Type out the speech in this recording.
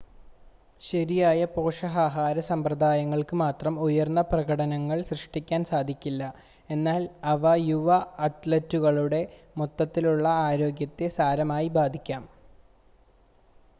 ശരിയായ പോഷകാഹാര സമ്പ്രദായങ്ങൾക്ക് മാത്രം ഉയർന്ന പ്രകടനങ്ങൾ സൃഷ്ടിക്കാൻ കഴിയില്ല എന്നാൽ അവ യുവ അത്‌ലറ്റുകളുടെ മൊത്തത്തിലുള്ള ആരോഗ്യത്തെ സാരമായി ബാധിക്കാം